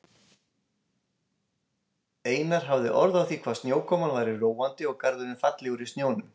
Einar hafði orð á því hvað snjókoman væri róandi og garðurinn fallegur í snjónum.